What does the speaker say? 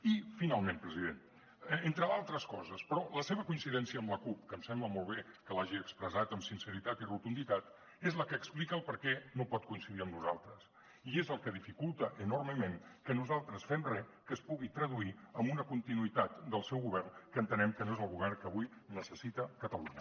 i finalment president entre d’altres coses però la seva coincidència amb la cup que em sembla molt bé que l’hagi expressat amb sinceritat i rotunditat és la que explica per què no pot coincidir amb nosaltres i és el que dificulta enormement que nosaltres fem re que es pugui traduir en una continuïtat del seu govern que entenem que no és el govern que avui necessita catalunya